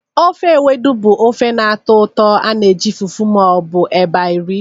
Ofe Ewedu bụ ofe na-atọ ụtọ ana eji fufu ma ọ bụ eba eri.